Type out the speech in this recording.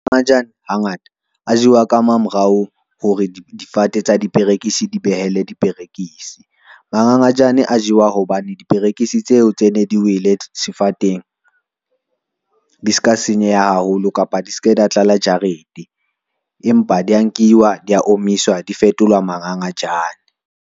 Mangangajane hangata a jewa ka mamorao hore difate tsa diperekisi di behele diperekisi. Mangangajane a jewa hobane diperekisi tseo tse ne di wele sefateng, di ska senyeha haholo kapa di se ke da tlala jarete, empa di ya nkiwa di ya omiswa, di fetola mangangajane.